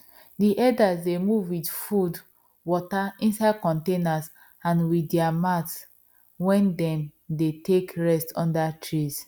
the herders dey move with food water inside containers and with their mat wen them dey take rest under trees